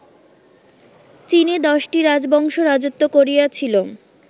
চীনে দশটি রাজবংশ রাজত্ব করিয়াছিল